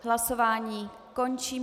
Hlasování končím.